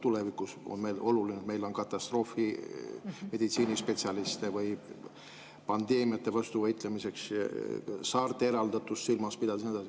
Tulevikus on oluline, et meil oleks katastroofimeditsiini spetsialiste või pandeemiate vastu võitlemiseks, saarte eraldatust tuleks silmas pidada ja nii edasi.